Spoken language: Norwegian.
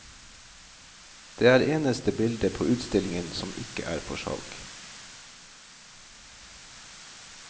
Det er eneste bilde på utstillingen som ikke er for salg.